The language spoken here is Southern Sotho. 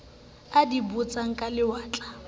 a di botsang ka lewatle